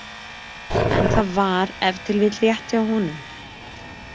En það var ef til vill rétt hjá honum.